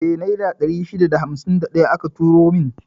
Eh, Naira 651 aka turo min.